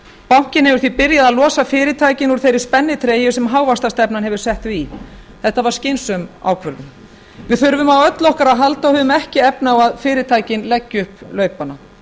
bankinn hefur því byrjað að losa fyrirtækin úr þeirri spennitreyju sem hávaxtastefnan hefur sett þau í þetta var skynsöm ákvörðun við þurfum á öllu okkar að halda og við höfum ekki efni á að fyrirtækin leggi upp laupana